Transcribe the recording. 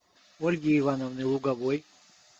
ольги ивановны луговой